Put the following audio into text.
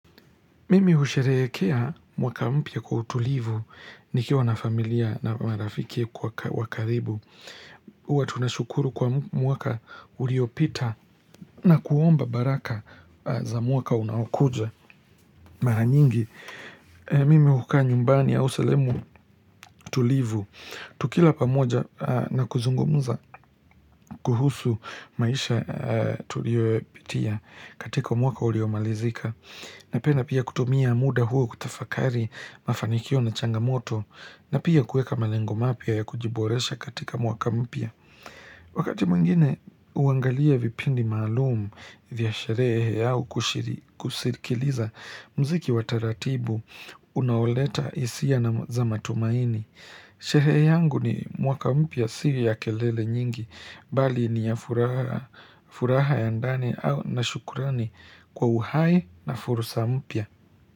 Mimi husherekea mwaka mpya kwa utulivu ni kia nafamilia na marafikia kwa kathibu. Uwa tunashukuru kwa mwaka uliopita na kuomba baraka za mwaka unakuja. Mara nyingi, mimi hukaa nyumbani ya sehemu tulivu. Tukila pamoja na kuzungumuza kuhusu maisha tuliopitia katika mwaka uliomalizika. Na penda pia kutumia muda huo kutafakari mafanikio na changamoto na pia kueka malengo mapya ya kujiboresha katika mwaka mpya. Wakati mwingine uangalia vipindi maalumu, vya sherehe au kushirikiliza mziki wataratibu, unaoleta isia na za matumaini. Sherehe yangu ni mwaka mpya si ya kelele nyingi, bali ni ya furaha ya ndani au na shukrani kwa uhai, na fursa mpya.